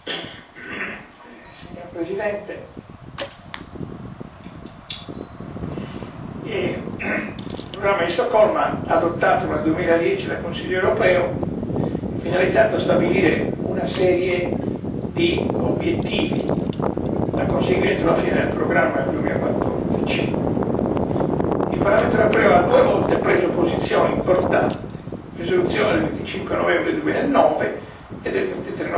Signor Presidente, onorevoli colleghi, il programma di Stoccolma adottato nel 2010 dal Consiglio europeo è finalizzato a stabilire una serie di obiettivi da conseguire entro la fine del programma nel 2014. Il Parlamento europeo ha due volte preso posizioni importanti, con le risoluzioni del 25 novembre 2009 e del 23 novembre 2010,